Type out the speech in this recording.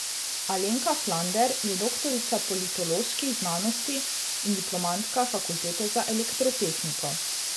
Alenka Flander je doktorica politoloških znanosti in diplomantka fakultete za elektrotehniko.